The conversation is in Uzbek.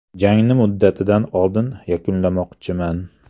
Jangni muddatidan oldin yakunlamoqchiman.